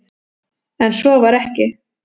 En svo var ekki.